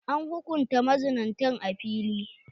An hukunta mazinatan a fili.